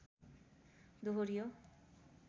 दोहोरियो